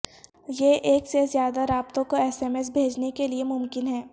یہ ایک سے زیادہ رابطوں کو ایس ایم ایس بھیجنے کے لئے ممکن ہے